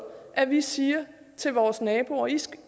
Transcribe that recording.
at vi siger til vores naboer